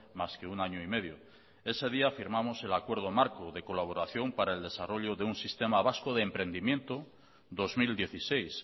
más que un año y medio ese día firmamos el acuerdo marco de colaboración para el desarrollo de un sistema vasco de emprendimiento dos mil dieciséis